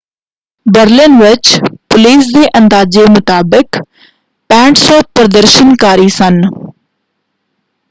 Berlin ਵਿੱਚ police ਦੇ ਅੰਦਾਜੇ ਮੁਤਾਬਿਕ 6,500 ਪ੍ਰਦਰਸ਼ਨਕਾਰੀ ਸਨ।